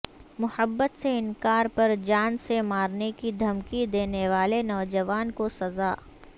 محبت سے انکار پر جان سے مارنے کی دھمکی دینے والے نوجوان کو سزا